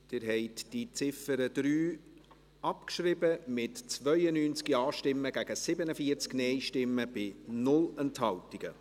Sie haben die Ziffer 3 abgeschrieben, mit 92 Ja- gegen 47 Nein-Stimmen bei 0 Enthaltungen.